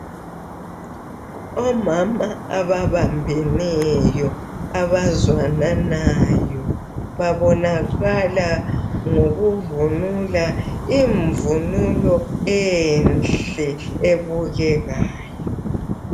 Omama ababambeneyo, abazwananayo babonakala ngokuvunula imvunulo enhle ebukekayo.